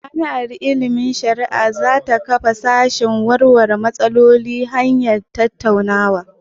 Jami'ar ilimin shari'a za ta kafa sashen warware matsaloli ta hanyar tattaunawa.